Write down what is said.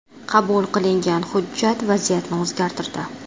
Qabul qilingan hujjat vaziyatni o‘zgartirdi.